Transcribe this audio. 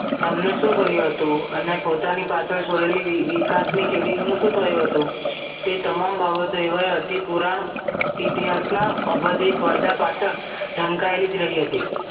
તેમને સુ કર્યું હતું અને પોતાની પાછળ છોડેલી વિકાસની કેદીઓનું શું થયું હતું તે તમામ બાબતો એવા અતિ પૂરાં ઇતિહાસના અભતિક પરદા પાછળ ઢાંકાયેલીજ રહી હતી